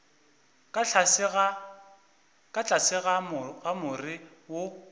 ka tlase ga more wo